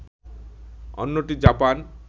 অন্যটি জাপান